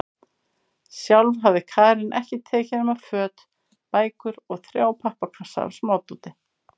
Sjálf hafði Karen ekkert tekið nema föt, bækur og þrjá pappakassa af smádóti.